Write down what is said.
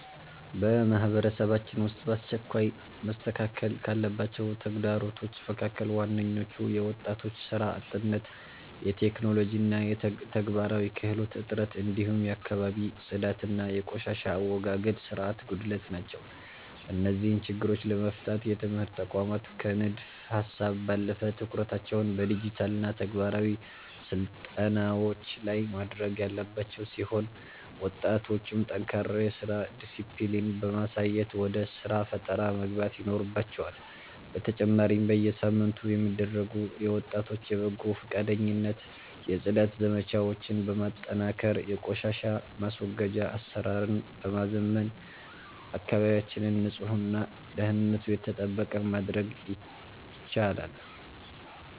በማህበረሰባችን ውስጥ በአስቸኳይ መስተካከል ካለባቸው ተግዳሮቶች መካከል ዋነኞቹ የወጣቶች ሥራ አጥነት፣ የቴክኖሎጂና የተግባራዊ ክህሎት እጥረት፣ እንዲሁም የአካባቢ ጽዳትና የቆሻሻ አወጋገድ ሥርዓት ጉድለት ናቸው። እነዚህን ችግሮች ለመፍታት የትምህርት ተቋማት ከንድፈ-ሀሳብ ባለፈ ትኩረታቸውን በዲጂታልና ተግባራዊ ስልጠናዎች ላይ ማድረግ ያለባቸው ሲሆን፣ ወጣቶችም ጠንካራ የሥራ ዲስፕሊን በማሳየት ወደ ሥራ ፈጠራ መግባት ይኖርባቸዋል፤ በተጨማሪም በየሳምንቱ የሚደረጉ የወጣቶች የበጎ ፈቃደኝነት የጽዳት ዘመቻዎችን በማጠናከርና የቆሻሻ ማስወገጃ አሰራርን በማዘመን አካባቢያችንን ንጹህና ደህንነቱ የተጠበቀ ማድረግ ይቻላል።